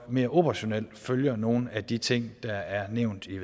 mere operationelt følger nogle af de ting der er nævnt i